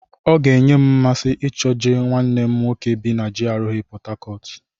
Ọ ga-enye m mmasị ichọga nwanne m nwoke bi na GRA Pọt Hacọt.